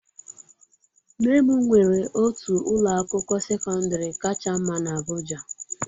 Nne m nwere otu ụlọ akwụkwọ sekọndrị kacha mma na abuja.